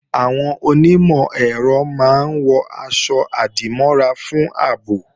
Àwọn onímọ̀-ẹ̀rọ máa ń wọ̀ aṣọ-àdìmọ́ra fún ààbò